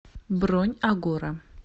бронь агора